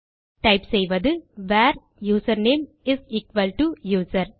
type செய்வது where username is equal to user